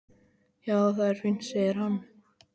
Já, það er fínt, segir hann.